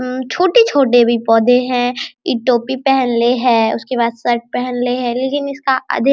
अम्म छोटे छोटे भी पौधे है एक टोपी पहनले है उसके बाद शर्ट पहनले हैं लेकिन इसका अधिक --